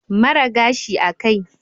Mara gashi a kai